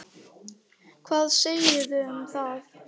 Hvað segiði um það?